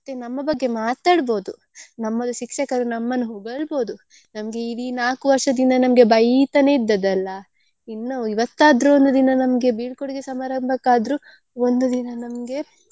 ಮತ್ತೆ ನಮ್ಮ ಬಗ್ಗೆ ಮಾತಾಡ್ಬೋದು ನಮ್ಮದು ಶಿಕ್ಷಕರು ನಮ್ಮನ್ನು ಹೊಗಳ್ಬೋದು ನಮ್ಗೆ ಇಡೀ ನಮ್ಗೆ ವರ್ಷದಿಂದ ನಮ್ಗೆ ಬೈತನೆೇ ಇದ್ದದಲ್ಲ ಇನ್ನ ಇವತ್ತಾದ್ರು ಒಂದು ದಿನ ನಮ್ಗೆ ಬೀಳ್ಕೊಡುಗೆ ಸಮಾರಂಭಕ್ಕಾದ್ರು ಒಂದು ದಿನ ನಮ್ಗೆ.